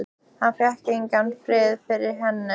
Hann fékk engan frið fyrir henni.